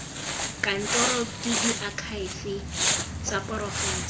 kantorong ke diakhaefe tsa porofense